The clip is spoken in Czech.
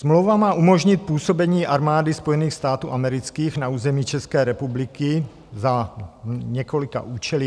Smlouva má umožnit působení Armády Spojených států amerických na území České republiky za několika účely.